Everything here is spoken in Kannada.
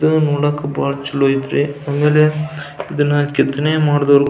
ಇದು ನೋಡಾಕ ಬಹಳ ಚಲೋ ಅಯ್ತ್ರಿ ಆಮೇಲೆ ಇದನ್ನ ಕೆತ್ತನೆ ಮಾಡಿದವ್ರು --